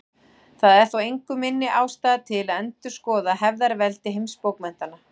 Það er þó engu minni ástæða til að endurskoða hefðarveldi heimsbókmenntanna.